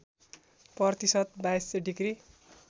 प्रतिशत २२ डिग्री